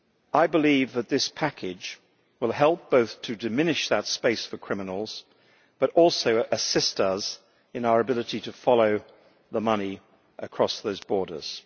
I believe that this package will help both to diminish that space for criminals and also to assist us in our ability to follow the money across those borders.